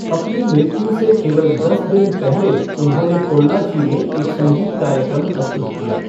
अपनी मृत्यु से केवल दस दिन पहले उन्होंने पोल्लाची में एक संगीत कार्यक्रम प्रस्तुत किया।